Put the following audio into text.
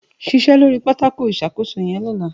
Ṣiṣẹ lóri ápótí iṣákósó yẹn llọ̀lá